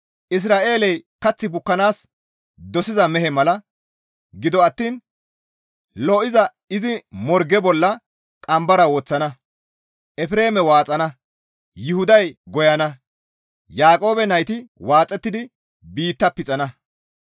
Isra7eeley kath bukkanaas dosiza mehe mala; gido attiin lo7iza izi morge bolla qambara woththana; Efreeme waaxana; Yuhuday goyana; Yaaqoobe nayti waaxettidi biitta pixana.